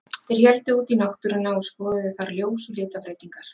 Þeir héldu út í náttúruna og skoðuðu þar ljós og litabreytingar.